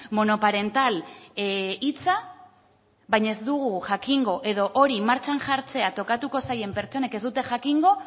monoparental hitza baina ez dugu jakingo edo hori martxan jartzea tokatuko zaien pertsonek ez dute jakingo